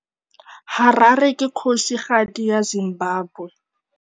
Harare ke kgosigadi ya Zimbabwe.